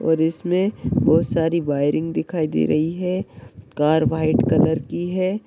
और इसमे बहुत सारी वाइरिंग दिखाई दे रही है कार व्हाइट कलर की है।